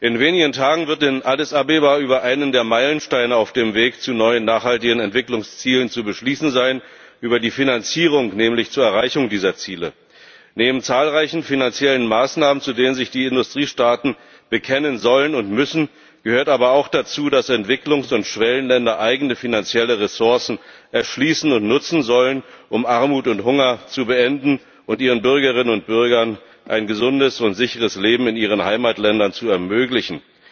In wenigen Tagen wird in Addis Abeba über einen der Meilensteine auf dem Weg zu neuen nachhaltigen Entwicklungszielen zu beschließen sein, über die Finanzierung nämlich zur Erreichung dieser Ziele. Neben zahlreichen finanziellen Maßnahmen, zu denen sich die Industriestaaten bekennen sollen und müssen, gehört aber auch dazu, dass Entwicklungs und Schwellenländer eigene finanzielle Ressourcen erschließen und nutzen sollen, um Armut und Hunger zu beenden und ihren Bürgerinnen und Bürgern ein gesundes und sicheres Leben in ihren Heimatländern zu ermöglichen.